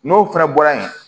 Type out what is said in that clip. N'o fana bɔra yen